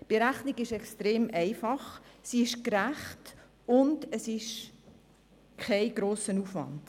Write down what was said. Die Berechnung ist extrem einfach, gerecht, und es ist kein grosser Aufwand.